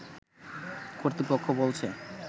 কর্তৃপক্ষ বলছে